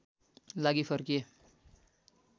लागि फर्किए